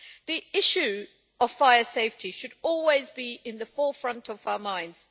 The issue of fire safety should always be at the forefront of our minds.